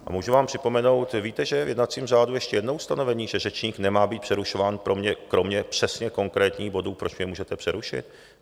A můžu vám připomenout, víte, že je v jednacím řádu ještě jedno ustanovení, že řečník nemá být přerušován kromě přesně konkrétních bodů, proč mě můžete přerušit?